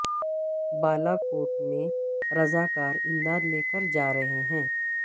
بالاکوٹ میں رضاکار امداد لے کر جا رہے ہیں